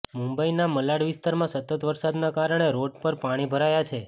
મુંબઇના મલાડ વિસ્તારમાં સતત વરસાદના કારણે રોડ પર પાણી ભરાયાં છે